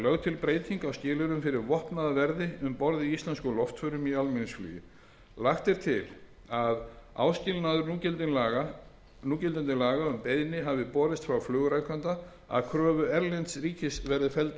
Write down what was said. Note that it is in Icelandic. til breyting á skilyrðum fyrir vopnaða verði um borð í íslenskum loftförum í almenningsflugi lagt er til að áskilnaður núgildandi laga um að beiðni hafi borist frá flugrekanda að kröfu erlends ríkis verði felldur